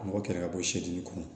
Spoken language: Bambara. An b'o kɛlɛ ka bɔ sedini kɔnɔ